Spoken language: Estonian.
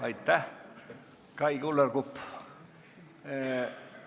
Aitäh, Kai Kullerkupp!